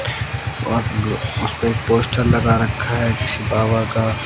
और उसपे एक पोस्टर लगा रखा है किसी बाबा का--